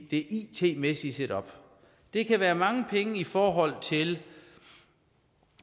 det it mæssige setup det kan være mange penge i forhold til